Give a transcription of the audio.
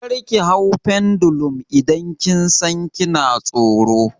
Kar ki hau pendulum idan kin san kina tsoro!